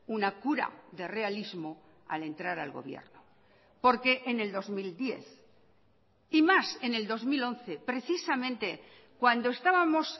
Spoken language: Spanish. una cura de realismo al entrar al gobierno porque en el dos mil diez y más en el dos mil once precisamente cuando estábamos